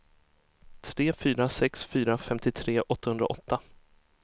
tre fyra sex fyra femtiotre åttahundraåtta